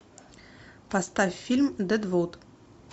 поставь фильм дедвуд